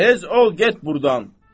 Tez ol, get burdan.